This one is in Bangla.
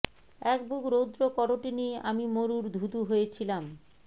একবুক রৌদ্র করোটি নিয়ে আমি মরুর ধু ধু হয়েছিলাম